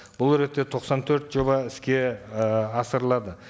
бұл ретте тоқсан төрт жоба іске ыыы асырылады